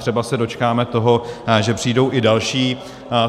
Třeba se dočkáme toho, že přijdou i další.